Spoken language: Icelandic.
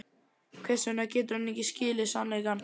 Hvers vegna getur hann ekki skilið sannleikann?